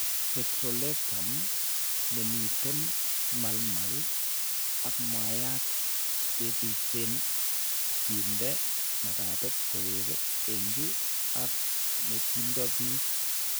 Petrolatum nemiiten maalmal ak mwaayta kebaysen kinde makatet koek enkey ak ne tindo beek.